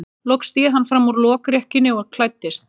Loks sté hann fram úr lokrekkjunni og klæddist.